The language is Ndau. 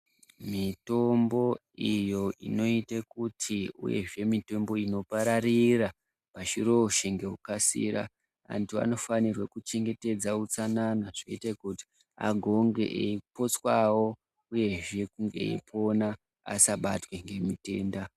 Mitombo iyo inoite kuti uyezve mitombo inopararira pashi roshe ngekukasira antu vanofanirwa kuchengetedza utsanana zvoita kuti agonge eipotswawo uyezve eyipona asabatwa ngemitenda.